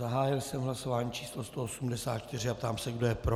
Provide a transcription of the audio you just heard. Zahájil jsem hlasování číslo 184 a ptám se, kdo je pro.